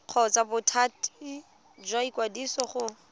kgotsa bothati jwa ikwadiso go